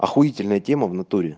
ахуительная тема в натуре